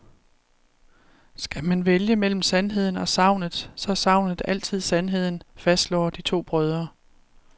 Skal man vælge mellem sandheden og sagnet, så er sagnet altid sandheden, fastslår de to brødre.